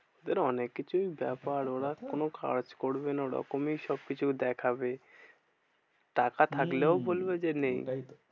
ওদের অনেক কিছুই ব্যাপার। ওরা কোনো কাজ করবে না ওরকমই সবকিছু দেখাবে। তারা থাকলেও হম বলবে যে নেই ভাই।